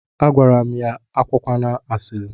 Agwara m ya, ya akụkwana asili.